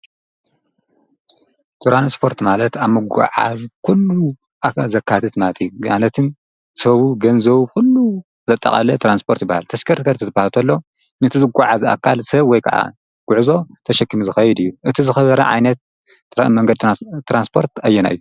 ትራንስርረት ማለት ኣብ ምጕዓዝ ኲሉ ዘካትት ማሳለጢ ሰቡ ገንዘዉ ዂሉ ዘጠቓለ ተራንስፖርት ይበሃል። ተሽከርከርቲ ትጳልቶኣሎ ነቲ ዝጐዓ ዝ ኣካል ሰብ ወይ ከዓ ጕዕዞ ተሸኪሚ ዝኸይድ እዩ እቲ ዝኽበረ ዓይነት አ መንገድ ተራንስጶርት ኣየና እ።